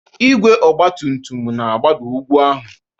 Igwe ọgba tum tum na-agbada n'ugwu ahụ